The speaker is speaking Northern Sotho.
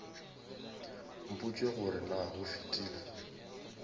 mpotše gore na go fetile